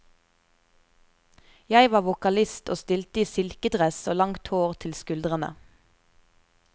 Jeg var vokalist og stilte i silkedress og langt hår til skuldrene.